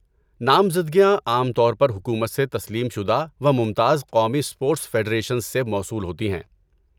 نامزدگیاں عام طور پر حکومت سے تسلیم شدہ و ممتاز قومی اسپورٹس فیڈریشنز سے موصول ہوتی ہیں۔